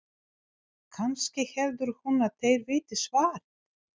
Kannski heldur hún að þeir viti svarið?